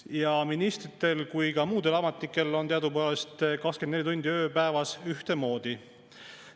Nii ministritel kui ka muudel ametlikel on teadupärast 24 tundi ööpäevas ühtemoodi.